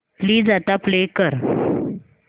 please आता play कर